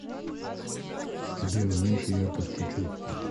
сбер уменьши яркость чуть чуть